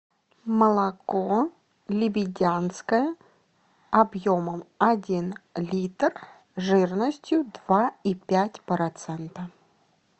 молоко лебедянское объемом один литр жирностью два и пять процента